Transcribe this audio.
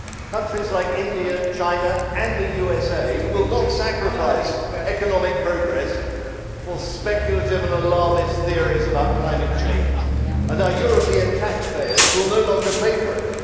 Countries like India, China and the USA will not sacrifice economic progress for speculative and alarmist theories about climate change and our European taxpayers will no longer pay for it.